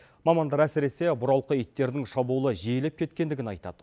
мамандар әсіресе бұралқы иттердің шабуылы жиелеп кеткендігін айтады